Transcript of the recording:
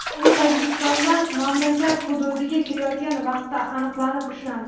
U Tojikistondan mamlakat hududiga kirayotgan vaqtda aniqlanib, ushlandi.